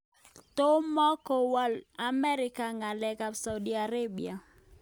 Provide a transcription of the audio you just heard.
Tomokowol Amerika ngalek ab Saudi Arabia.